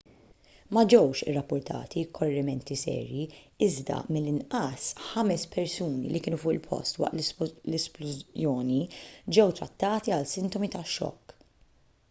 ma ġewx irrappurtati korrimenti serji iżda mill-inqas ħames persuni li kienu fuq il-post waqt l-isplużjoni ġew trattati għal sintomi ta' xokk